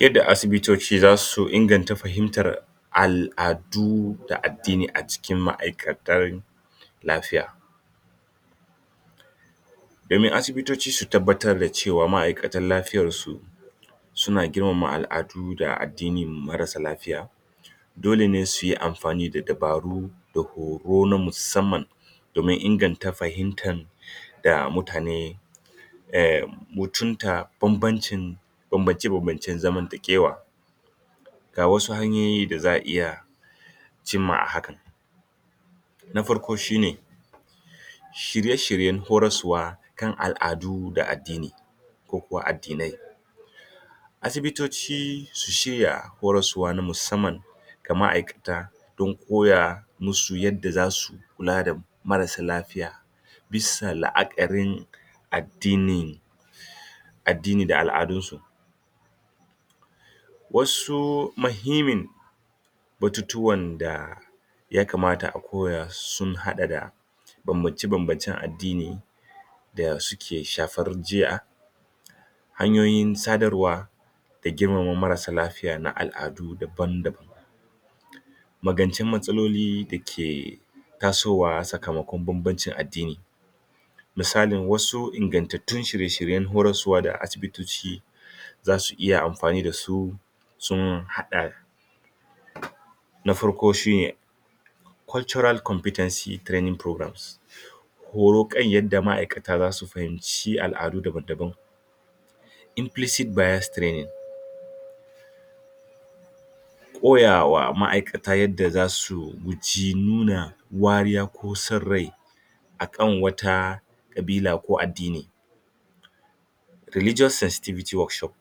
yarda asibitoci zasu inganta fahimtar al'adu da addini a cikin ma'aikatar lafiya sannan asibitoci su tabbatar da cewa ma'aikatan lafiyar su suna girmama al'adu da addinin marasa lafiya dole ne suyi amfani da dabaru da horo na musamman domin inganta fahimtan da mutane ehm mutumta bambancin bambance bambance zamantakewa ga wasu hanyoyi da za'a iya cimma hakan na farko shine shirye shiryen horaswa kan al'adu da addini ko kuwaaddinai asibitoci su shirya horaswa na musamman ga ma'aikata don kowa masu yanda zasu kula da marasa lafiya bissa la'akarin addinin addini da al'adun su wasu mahimmin batutuwan da ya kamata a koya sun hada da bambance bambancen addini da suke shafar jiya hanyoyin sadarwa da girmama marasa lafiya da na al'adu dabam dabam magance matsaloli dake tasowa sakamakon bambancin addini misali wasu ingantattun shire shiren horaswa da asibitoci zasu iya amfani da su sun hada na farko natural compitency training program horo kan yadda ma'aikata su fahimci ala'du damdaban impleseed bayers training koyawa ma'aikata yadda zasu guji nuna wariya ko san rai akan wata kabila lo addini religious sencetivity workshop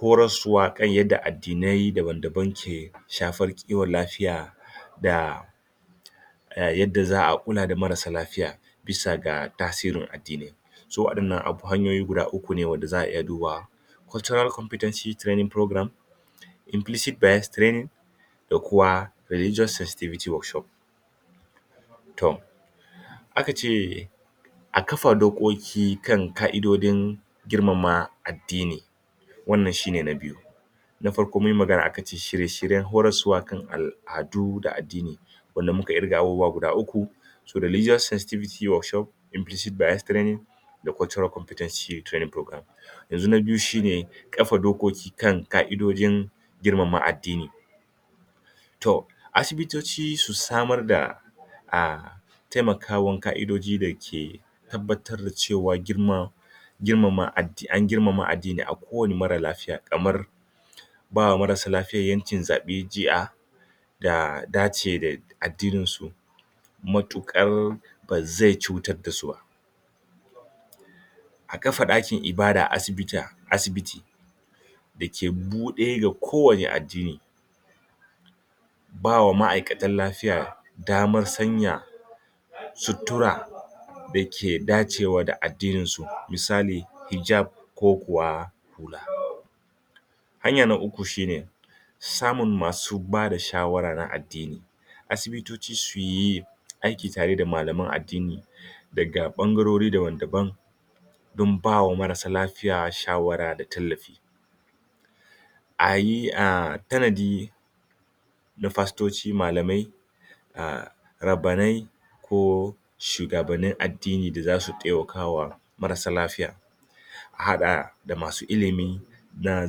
horaswa kan yadda addinai daban daban ke shafar kiwon lafiya da da yadda za'a kula da marasa lafiya bisaga tasirin addini to wadannan hanyoyi guda ukku ne wanda za'a iya dubawa cultural compitency program impleased bayers training da kuma religious sestivity workshop to akace a kafa dokoki kan ka'idodin girmama addini wannan shine na biyu na farko munyi magana akace shirye shiryen horaswa kan al'adu da addini wanda muka kirga abubuwa guda ukku religious sestivity workshopimplised bayers training da cultural confitency training yanzu na biyu shine kafa dokoki kan ka'idojin girmama addini to asibitoci su samar da ah taimakwan ka'idoji dake tabbatar da cewa girma girmama addini an girmama addini na kowane marar lafiya kamar bawa marasa lafiya yancin zaben jiya daya dace da addinin su matukar bazai cutar da su ba a kafa dakin ibada a asibiti dake bude ga ko wane addini bawa ma'aikatan lafiya damar sanya sutura dake dacewa da addinin su misali hijab ko kuwa hula hanya na ukku shine samun masu daba shawarar addini asibitoci suyi aiki da tare da malaman addini daga bangarori daban daban don bawa marasa lafiya shawara da tallafi ayi tanadi na pastoci da malamai rabbanai ko shugabannin addini da zasu taimakawa marasa lafiya a hada da masu ilimi na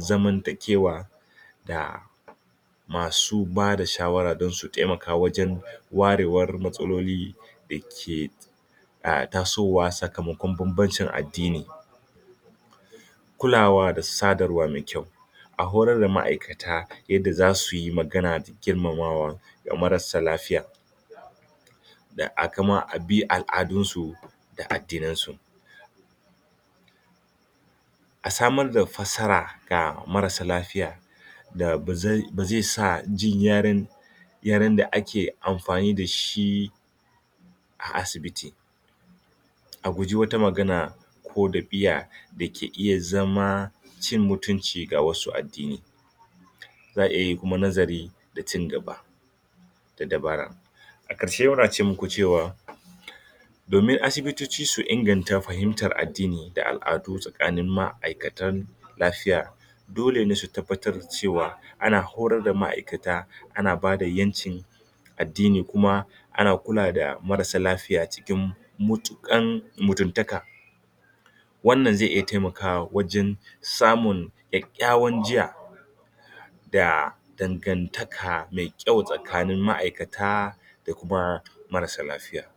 zamantakewa da masu bada shawara don su taimaka wajen warewar matsaloli dake tasowa sakamakon bambancin addini kulawa da sadarwa mai kyau a horar da ma'aikata yadda zasuyi magana da girmamawa ga marasa lafiya da kuma abi al'adun su da kuma addinan su a samar da fassara ga marasa lafiya da bazai sa jin yaren yaren da ake amfani da shi a asibiti a guji wata magana ko da biya dake iya zama cin mutunci ga wasu addini za'a iya yin kuma nazari da ci gaba da dabara a karshe muna ce maku cewa domin asibitoci su inganta fahimtar addini da al'adu tsakanin ma'aikatan lafiya dole ne su tabbatar cewa ana horar da ma'aikata ana bada yanci addini kuma ana kula da marasa lafiya cikin matukar mutuntaka wannan zai iya taimakawa wajen samun kyakkyawar jiya da dangantaka mai kyau tsakanin ma'aikata da kuma marasa lafiya